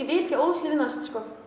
vil ekki óhlýðnast